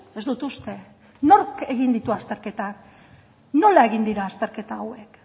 ez dut uste nork egin ditu azterketa nola egin dira azterketa hauek